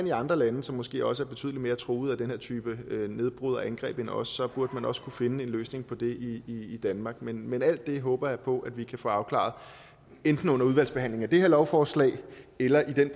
i andre lande som måske også er betydelig mere truet af den her type nedbrud og angreb end os så burde man også kunne finde en løsning på det i danmark men men alt det håber jeg på vi kan få afklaret enten under udvalgsbehandlingen af det her lovforslag eller i den